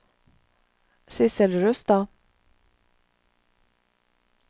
Sissel Rustad